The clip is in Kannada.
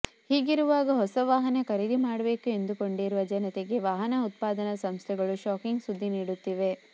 ಹೀಗಿರುವಾಗ ಹೊಸ ವಾಹನ ಖರೀದಿ ಮಾಡ್ಬೇಕು ಎಂದುಕೊಂಡಿರುವ ಜನತೆಗೆ ವಾಹನ ಉತ್ಪಾದನಾ ಸಂಸ್ಥೆಗಳು ಶಾಕಿಂಗ್ ಸುದ್ದಿ ನೀಡುತ್ತಿವೆ